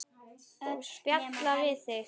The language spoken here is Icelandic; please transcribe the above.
Og spjalla við þig.